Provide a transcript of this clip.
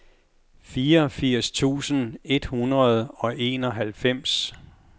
fireogfirs tusind et hundrede og enoghalvfems